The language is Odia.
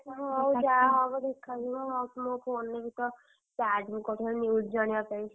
ହଁ ହଉ ଯାହା ହବ ଦେଖାଯିବ। ରଖ ମୋ phone ରେ ବି ତ, charge ମୁଁ କରିଥାନ୍ତି news ଜାଣିବା ପାଇଁ।